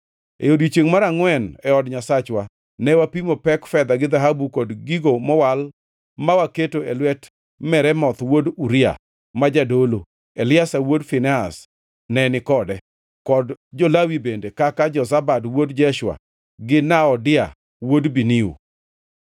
E odiechiengʼ mar angʼwen, e od Nyasachwa, ne wapimo pek fedha gi dhahabu kod gigo mowal ma waketo e lwet Meremoth wuod Uria, ma jadolo, Eliazar wuod Finehas ne ni kode, kod jo-Lawi bende kaka Jozabad wuod Jeshua gi Noadia wuod Binui.